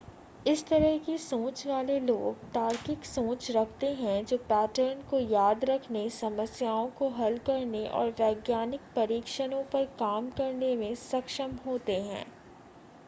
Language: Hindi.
इस तरह की सोच वाले लोग तार्किक सोच रखते हैं जो पैटर्न को याद रखने समस्याओं को हल करने और वैज्ञानिक परीक्षणों पर काम करने में सक्षम होते हैं